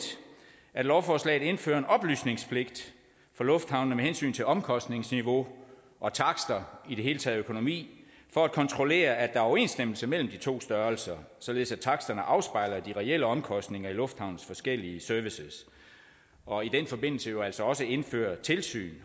at lovforslaget indfører en oplysningspligt for lufthavnene med hensyn til omkostningsniveau og takster og i det hele taget økonomi for at kontrollere at der er overensstemmelse mellem de to størrelser således at taksterne afspejler de reelle omkostninger i lufthavnens forskellige services og i den forbindelse jo altså også indfører et tilsyn